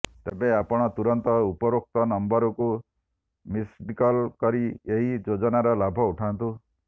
ଏବେ ଆପଣ ତୁରନ୍ତ ଊପରୋକ୍ତ ନମ୍ବରକୁ ମିସଡକଲ କରି ଏହି ଯୋଜନାର ଲାଭ ଉଠାନ୍ତୁ